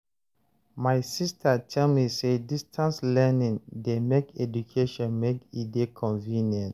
My sista tell me sey distance learning dey make education make e dey convenient.